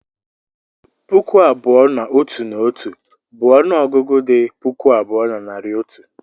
puku abụọ na otu na otu bụ ọnụ ọgụgụ dị puku abụọ na narị otu.